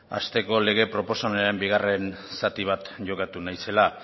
asteko lege proposamenaren bigarren zati bat jokatu nahi zela